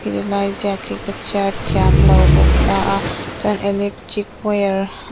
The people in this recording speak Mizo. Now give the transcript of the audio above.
helai ziak hi ka chhiar thiamlo bawk ta a chuan electric wire --